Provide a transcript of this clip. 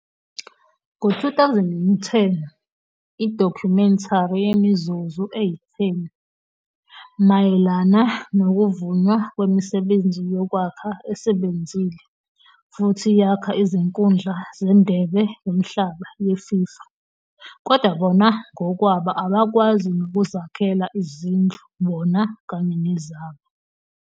ngo-2010 idokhumentari yemizuzu eyi-10 mayelana nokuvunywa kwemisebenzi yokwakha esebenzile futhi yakha izinkundla zeNdebe Yomhlaba yeFIFA, kodwa bona ngokwabo abakwazi nokuzakhela izindlu bona kanye nezabo.